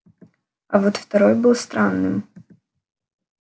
а вот второй был странным